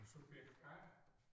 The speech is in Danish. Subjekt A